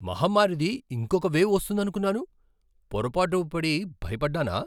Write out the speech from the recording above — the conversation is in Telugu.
మహమ్మారిది ఇంకొక వేవ్ వస్తోందనుకున్నాను. పొరపాటు పడి భయపడ్డానా?